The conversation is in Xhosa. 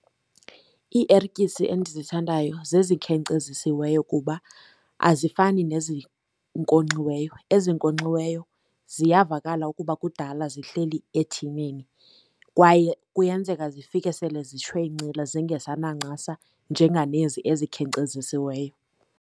Iiertyisi endizithandayo zezikhenkcezisiweyo kuba azifani nezinkonxiweyo. Ezinkonkxiweyo ziyavakala ukuba kudala zihleli ethineni kwaye kuyenzeka zifike sele zishwencile zingesanancasa njenganezi ezikhenkcezisiweyo.